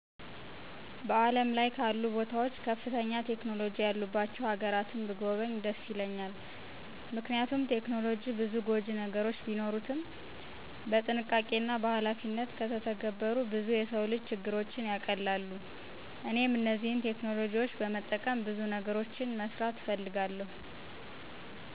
በዓለም ላይ ካሉ ቦታዎች ከፍተኛ ቴክኖሎጂ ያሉባቸው ሀገራትን ብጐበኝ ደስ ይለኛል። ምክንያቱም ቴክኖሎጂ ብዙ ጐጂ ነገሮች ቢኖሩትም በጥንቃቄና በኃላፊነት ከተተገበሩ ብዙ የሰው ልጅ ችግሮችን ያቀላሉ። እኔም እነዚህን ቴክኖሎጂዎች በመጠቀም ብዙ ነገሮችን መስራት እፈልጋለሁ።